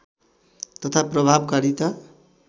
तथा प्रभावकारिता